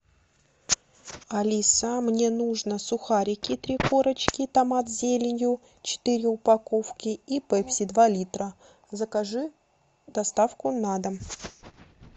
алиса мне нужно сухарики три корочки томат с зеленью четыре упаковки и пепси два литра закажи доставку на дом